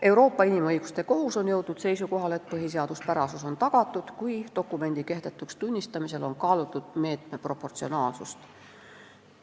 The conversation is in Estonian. Euroopa Inimõiguste Kohus on jõudnud seisukohale, et põhiseaduspärasus on tagatud, kui dokumendi kehtetuks tunnistamisel on kaalutud meetme proportsionaalsust.